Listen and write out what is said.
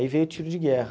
Aí veio o tiro de guerra.